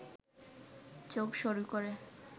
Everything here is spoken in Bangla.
চোখ সরু করে